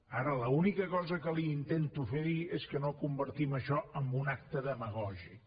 ara l’única cosa que li intento fer dir és que no convertim això en un acte demagògic